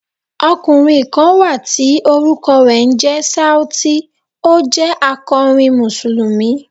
Ọkùnrin kan wà tí orúkọ rẹ̀ ń jẹ́ Sauti, ó jẹ́ akọrin Mùsùlùmí.